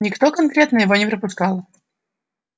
никто конкретно его не пропускал